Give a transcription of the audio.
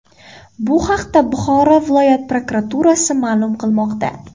Bu haqda Buxoro viloyat prokuraturasi ma’lum qilmoqda .